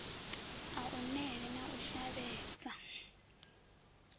a unele na u shavhedza